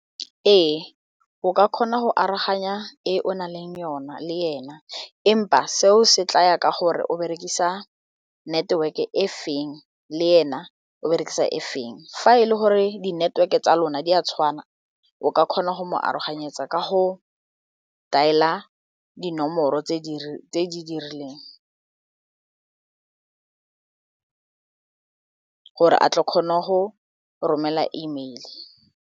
Ee, o ka kgona go aroganya e o naleng yona le ena empa seo se tlaya ka gore o berekisa network e feng le ena o berekisa e feng, fa e le gore di network e tsa lona di a o ka kgona go mo aroganyetsa ka go dial-a dinomoro tse di dirileng gore a tle ke kgone go romela E mail-e.